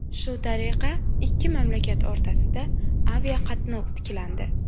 Shu tariqa ikki mamlakat o‘rtasida aviaqatnov tiklandi.